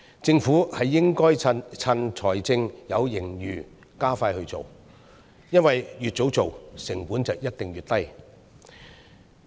政府應該趁財政有盈餘，加快推行，因為越早進行，成本一定越低。